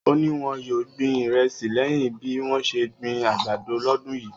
O ni won yoo gbin iresi leyin bi won se n gbin agbado lodun yii